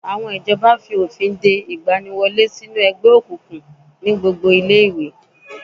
Àwọn ìjọba fi òfin de ìgbaniwọlé sínú ẹgbẹ́ òkùnkùn ní gbogbo ilé ẹ̀kọ́